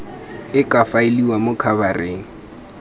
e ka faeliwang mo khabareng